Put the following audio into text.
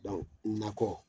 Dɔnku nakɔ